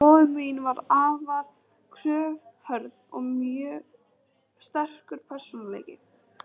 Móðir mín var afar kröfuhörð, og mjög sterkur persónuleiki.